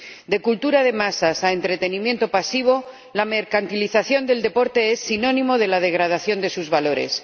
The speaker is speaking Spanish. De cultura de masas a entretenimiento pasivo, la mercantilización del deporte es sinónimo de la degradación de sus valores.